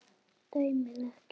Dæmið ekki.